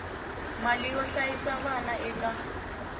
mali yo hlayisa vana eka